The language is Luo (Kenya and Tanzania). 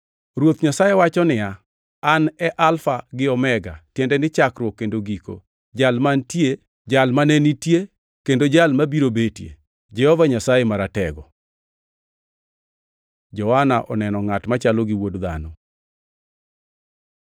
Ruoth Nyasaye wacho niya, “An e Alfa gi Omega, tiende ni Chakruok kendo Giko, Jal mantie, Jal mane nitie, kendo Jal mabiro betie, Jehova Nyasaye Maratego.” Johana oneno ngʼat machalo gi Wuod Dhano